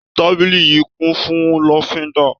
Tábìlì yìí kún fún lọ́fíńdà.